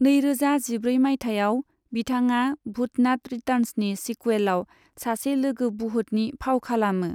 नैरोजा जिब्रै माइथायाव, बिथांआ भूतनाथ रिटार्न्सनि सिकुवेलआव सासे लोगो बुहुटनि फाव खालामो।